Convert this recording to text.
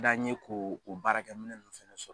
D'an ye k'o o baarakɛminɛn nun fɛnɛ sɔ